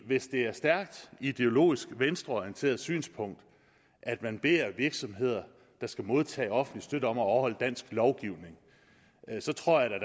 hvis det er et stærkt ideologisk venstreorienteret synspunkt at man beder virksomheder der skal modtage offentlig støtte om at overholde dansk lovgivning så tror jeg